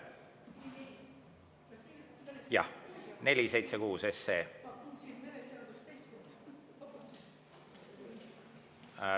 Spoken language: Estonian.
Jah, 476 SE.